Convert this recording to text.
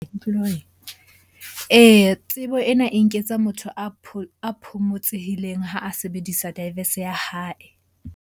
Tsebo ena e nketsa motho a phomotsehileng ha a sebedisa ya hae.